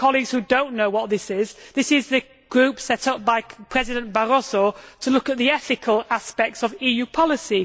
For colleagues who do not know what this is, it is the group set up by President Barroso to look at the ethical aspects of EU policy.